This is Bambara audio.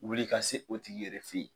Wuli i ka se o tigi yɛrɛ fɛ ye.